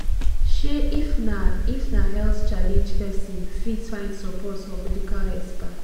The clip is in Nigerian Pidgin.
um if na if na health challenge person fit find support for medical expert